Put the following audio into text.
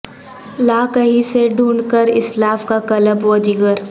لا کہیں سے ڈھونڈ کر اسلاف کا قلب وجگر